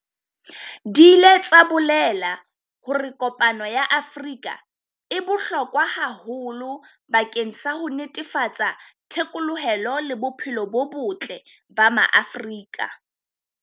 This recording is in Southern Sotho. Di ile tsa bolela hore kopano ya Afrika e bohlokwa haholo bakeng sa ho netefatsa thekolohelo le bophelo bo botle ba Maafrika.